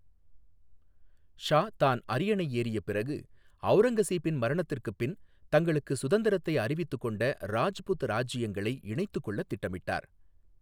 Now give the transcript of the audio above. ஷா தான் அரியணை ஏறியப் பிறகு, அவுரங்கசீபின் மரணத்திற்குப் பின் தங்களுக்கு சுதந்திரத்தை அறிவித்துக் கொண்ட ராஜ்புத் ராஜ்யங்களை இணைத்துக்கொள்ளத் திட்டமிட்டார்.